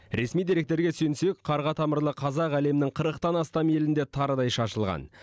ресми деректерге сүйенсек қарға тамырлы қазақ әлемнің қырықтан астам елінде тарыдай шашылған